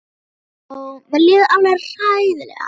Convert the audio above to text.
Ó, ó, mér líður alveg hræðilega.